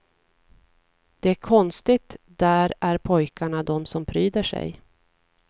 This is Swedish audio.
Det är konstigt, där är pojkarna de som pryder sig.